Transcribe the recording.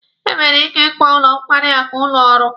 E nwere ike ịkpọ ụlọ nkwarị akụ ụlọ ọrụ.